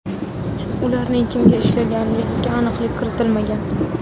Ularning kimga ishlaganligiga aniqlik kiritilmagan.